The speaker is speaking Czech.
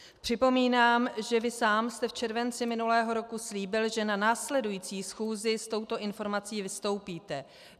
Připomínám, že vy sám jste v červenci minulého roku slíbil, že na následující schůzi s touto informací vystoupíte.